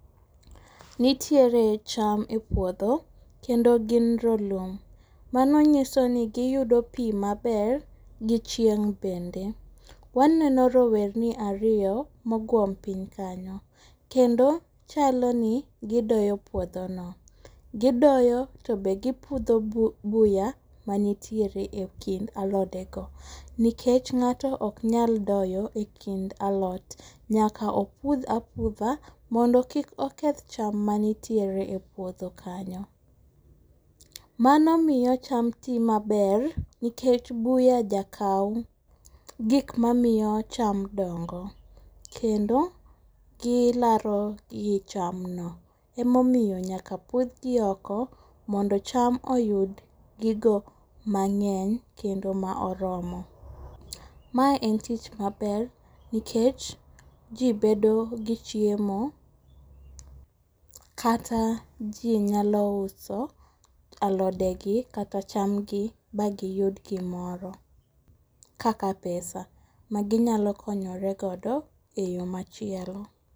Nitiere cham e puodho, kendo gin rolum. Mano nyisoni giyudo pii maber gi chieng' bende. Waneno rowerni ariyo moguom piny kanyo, kendo chaloni gidoyo puodhono. Gidoyo tobe gipudho buya manitiere e kind alodego, nikech ng'ato oknyal doyo e kind alot nyaka opudh apudha mondo kik oketh cham manitiere puodho kanyo. Mano miyo cham tii maber nikech buya jakao gikmamiyo cham dongo, kendo gilaro gi cham no, emomiyo nyaka pudhgi oko mondo cham oyud gigo mang'eny kendo maoromo. Mae en tich maber nikech jii bedogi chiemo, kata jii nyalo uso alodegi kata chamgi bagiyud gimoro kaka pesa maginyalo konyore godo e yo machielo.